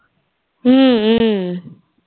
ம்ம்